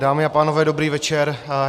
Dámy a pánové, dobrý večer.